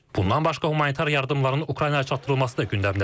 Bundan başqa humanitar yardımların Ukraynaya çatdırılması da gündəmdədir.